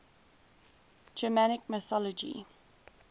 germanic mythology